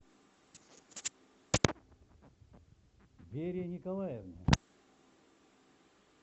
вере николаевне